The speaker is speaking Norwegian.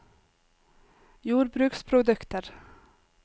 jordbruksprodukter